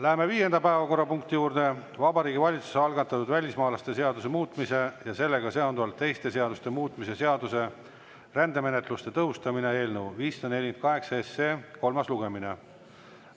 Läheme viienda päevakorrapunkti juurde: Vabariigi Valitsuse algatatud välismaalaste seaduse muutmise ja sellega seonduvalt teiste seaduste muutmise seaduse eelnõu 548 kolmas lugemine.